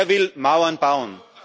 Er will Mauern bauen.